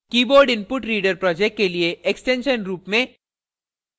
keyboardinputreader project के लिए extension रूप में